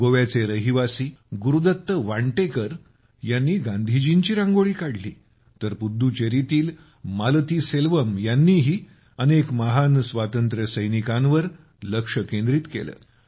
गोव्याचे रहिवासी गुरुदत्त वांटेकर यांनी गांधीजींची रांगोळी काढली तर पुद्दुचेरीतील मालतीसेल्वम यांनीही अनेक महान स्वातंत्र्यसैनिकांवर लक्ष केंद्रित केले